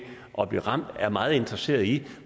at blive ramt er meget interesseret i